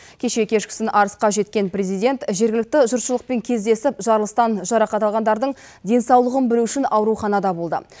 кеше кешкісін арысқа жеткен президент жергілікті жұртшылықпен кездесіп жарылыстан жарақат алғандардың денсаулығын білу үшін ауруханада болды